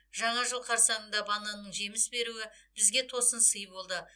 жаңа жыл қарсаңында бананның жеміс беруі бізге тосын сый болды